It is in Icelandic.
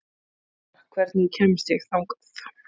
Snorra, hvernig kemst ég þangað?